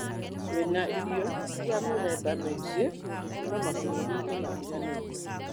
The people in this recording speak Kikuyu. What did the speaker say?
Twina irio cia mĩthemba mĩingĩ kuuma mabũrũri-inĩ matiganĩte.